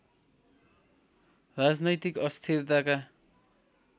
राजनैतिक अस्थिरताका